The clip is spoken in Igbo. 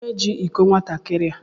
Kedụ onye jị ịkọ nwatakịrị a?